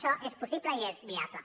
això és possible i és viable